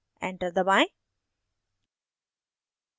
enter दबाएं